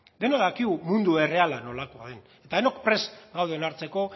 denok dakigu mundu erreala nolakoa den eta denok prest gaude onartzeko